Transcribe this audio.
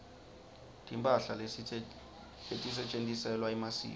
timphahla letisetjentiselwa emasiko